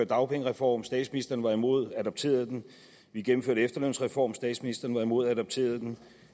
dagpengereform statsministeren var imod og adopterede den vi gennemførte en efterlønsreform statsministeren var imod og adopterede den